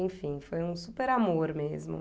Enfim, foi um super amor mesmo.